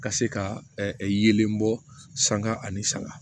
Ka se ka yelen bɔ sanga ani saga